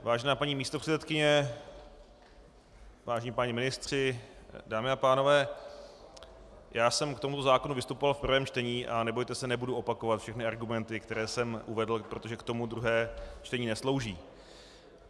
Vážená paní místopředsedkyně, vážení páni ministři, dámy a pánové, já jsem k tomuto zákonu vystupoval v prvém čtení a nebojte se, nebudu opakovat všechny argumenty, které jsem uvedl, protože k tomu druhé čtení neslouží.